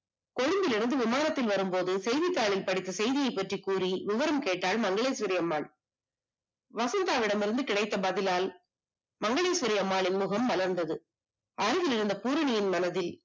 கொழும்புவில் இருந்து விமானத்தில் வரும்போது செய்தித்தாளை படித்த செய்தியை பற்றி கூறி விவரம் கேட்டால் மங்களேஸ்வரிஅம்மாள். வசந்தாவிடமிருந்து கிடைத்த பதிலால் மங்களேஸ்வரிஅம்மாளின் முகம் மலர்ந்தது அருகில்லிருந்த பூரணியின் மனதில்